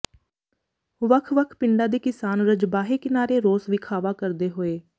ਵੱਖ ਵੱਖ ਪਿੰਡਾਂ ਦੇ ਕਿਸਾਨ ਰਜਬਾਹੇ ਕਿਨਾਰੇ ਰੋਸ ਵਿਖਾਵਾ ਕਰਦੇ ਹੋਏ